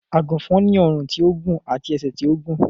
Àgùnfòn ni ọrùn tí ó gùn àti ẹsẹ̀ tí ó gùn